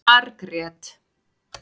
Margrét